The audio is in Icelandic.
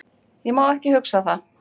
Ég má ekki hugsa það.